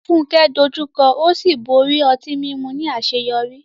Funke dojú kọ ó sì borí ọtí mímu ní àṣeyọrí.